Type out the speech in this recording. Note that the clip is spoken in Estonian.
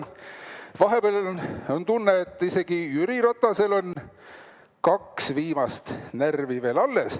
Sest vahepeal on tunne, et isegi Jüri Ratasel on alles vaid kaks viimast närvi.